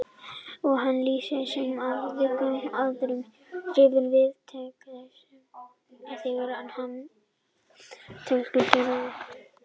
Og hann lýsir með háfleygum orðum hrifningu viðtakenda þegar þeir hafa séð tillögur Gerðar.